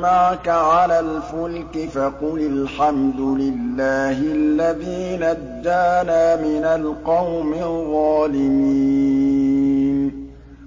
مَّعَكَ عَلَى الْفُلْكِ فَقُلِ الْحَمْدُ لِلَّهِ الَّذِي نَجَّانَا مِنَ الْقَوْمِ الظَّالِمِينَ